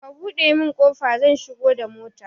Ka buɗe min kofa zan shigo da mota